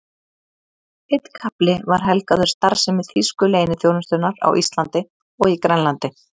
Einn kafli var helgaður starfsemi þýsku leyniþjónustunnar á Íslandi og í Grænlandi.